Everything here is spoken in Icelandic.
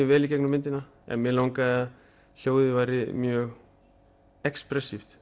vel í gegnum myndina en mig langaði að hljóðið væri mjög